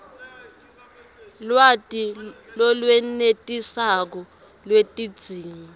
lwati lolwenetisako lwetidzingo